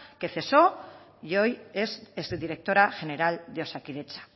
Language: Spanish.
que cesó y hoy es exdirectora general de osakidetza